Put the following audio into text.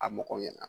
A mɔgɔw ɲɛna